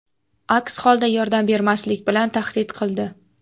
Aks holda yordam bermaslik bilan tahdid qildi.